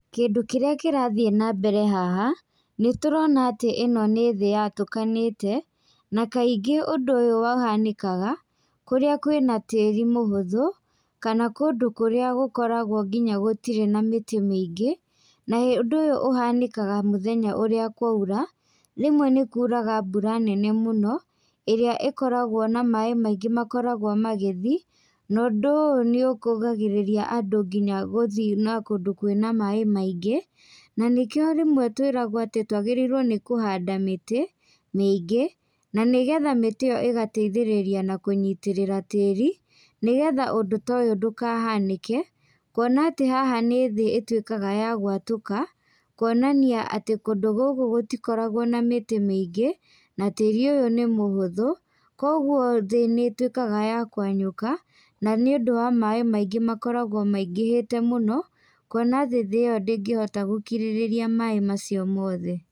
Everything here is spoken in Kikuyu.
Kĩndũ kĩrĩa kĩrathiĩ nambere haha, nĩtũrona atĩ ĩno nĩ thĩ yatũkanĩte, na kaingĩ ũndũ ũyũ ũhanĩkaga, kũrĩa kwĩ na tĩri mũhũthu, kana kũndũ kũria gũkoragwo nginya gũtirĩ na mĩtĩ mĩingĩ, na ũndũ ũyũ ũhanĩkaga mũthenya ũrĩa kwaura, rĩmwe nĩkuraga mbura nene mũno, ĩrĩa ĩkoragwo na maĩ maingĩ makoragwo magĩthiĩ, na ũndũ ũyũ nĩũkũgagĩrĩria andũ nginya gũthiĩ na kũndũ kwĩna maĩ maingĩ, na nĩkio rĩmwe twĩraguo atĩ twagĩrĩire nĩ kũhanda mĩtĩ mĩingĩ, na nĩgetha mĩtĩ ĩyo ĩgateithĩrĩria na kũnyitĩrĩra tĩri, nĩgetha ũndũ ta ũyũ ndũkahanĩke, kuona atĩ haha nĩ thĩ ĩtuĩkaga ya gwatũka, kuonania atĩ kũndũ gũkũ gũtikoragwo na mĩtĩ mĩingĩ, na tĩru ũyũ nĩ mũhũthu, koguo thĩ nĩituĩkaga ya kwenyuka, na nĩũndũ wa maĩ maingĩ makoragwo maingĩhĩte mũno, kuona atĩ thĩ ĩyo ndĩngĩhota gũkirĩrĩria maĩ macio mothe.